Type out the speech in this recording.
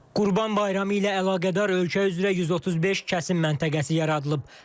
Qurban Bayramı ilə əlaqədar ölkə üzrə 135 kəsim məntəqəsi yaradılıb.